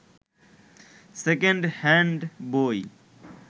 second hand বই